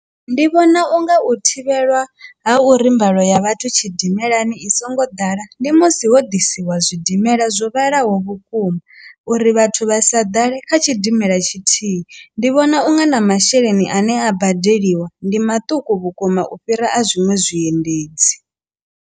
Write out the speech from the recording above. Ndi vhona unga u thivhelwa ha uri mbalo ya vhathu tshidimelani i songo ḓala ndi musi ho ḓisiwa zwidimela zwo vhalaho vhukuma uri vhathu vha sa ḓale kha tshidimela tshithihi, ndi vhona unga na masheleni ane a badeliwa ndi maṱuku vhukuma u fhira a zwiṅwe zwiendedzi.